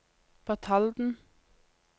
Batalden